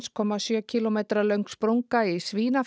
komma sjö kílómetra löng sprunga í